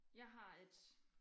Jeg har et